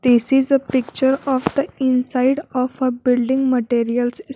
this is a picture of the inside of a building materials.